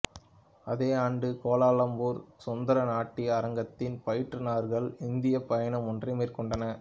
அதே ஆண்டு கோலாலம்பூர் சுத்ரா நாட்டிய அரங்கத்தின் பயிற்றுநர்கள் இந்தியப் பயணம் ஒன்றை மேற்கொண்டனர்